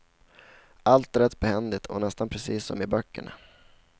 Allt är rätt behändigt och nästan precis som i böckerna.